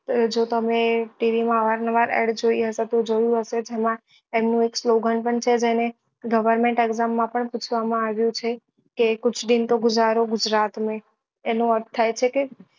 જો તમે TV માં અવાર નવાર add જોઈ હશે તો જોયું હશે તેમાં એમનું slogan પણ છે જેને government exam માં પણ પૂછવા માં આવ્યું છે કે કુછ દિન તો ગુઝારો ગુજરાત મેં એનો અર્થ થાય છે કે